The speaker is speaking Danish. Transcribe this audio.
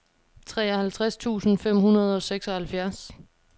treoghalvtreds tusind fem hundrede og seksoghalvfjerds